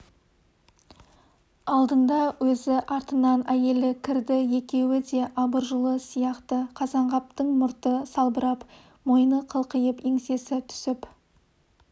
алдында өзі артынан әйелі кірді екеуі де абыржулы сияқты қазанғаптың мұрты салбырап мойны қылқиып еңсесі түсіп